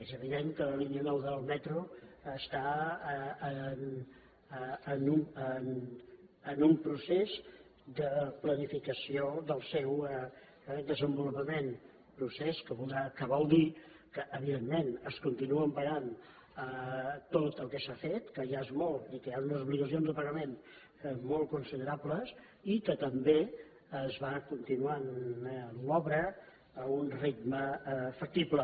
és evident que la línia nou del metro està en un procés de planificació del seu desenvolupament procés que vol dir que evidentment es continua pagant tot el que s’ha fet que ja és molt i que hi han unes obligacions de pagament molt considerables i que també es va continuant l’obra a un ritme factible